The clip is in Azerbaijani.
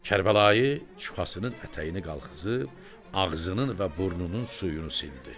Kərbəlayı çuxasının ətəyini qaldırıb, ağzının və burnunun suyunu sildi.